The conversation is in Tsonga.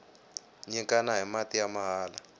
nyikana hi mati ya mahala